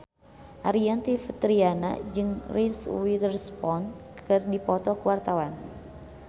Aryani Fitriana jeung Reese Witherspoon keur dipoto ku wartawan